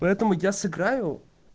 поэтому я сыграю